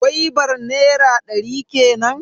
Gwaibar nera ɗari kenan.